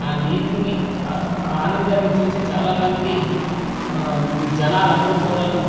ఆ నీటిని ఆ ఆనందాని చూసి చాలా మంది ఆ జనాలు అందరూ కూడాను.